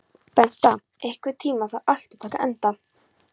Bengta, einhvern tímann þarf allt að taka enda.